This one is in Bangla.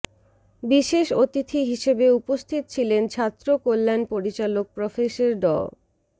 বিশেষ অতিথি হিসেবে উপস্থিত ছিলেন ছাত্র কল্যাণ পরিচালক প্রফেসর ড